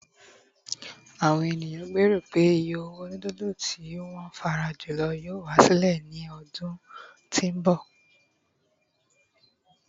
àwọn ènìyàn gbero pe iye owó nudulu tí won feran julo yíò wá sílẹ̀ ní ọdún tí nbọ